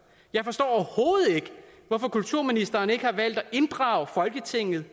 jeg forstår overhovedet ikke hvorfor kulturministeren ikke har valgt at inddrage folketinget